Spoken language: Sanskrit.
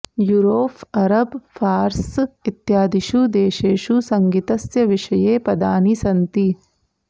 यूरोफ् अरब् फारस् इत्यादिषु देशेषु सङ्गितस्य विषये पदानि सन्ति